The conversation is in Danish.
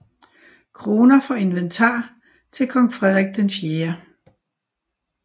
Kroner for inventar til kong Frederik IV